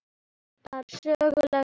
Þetta er söguleg stund.